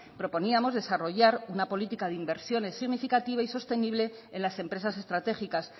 proponíamos desarrollar una política de inversiones significativa y sostenible en las empresas estratégicas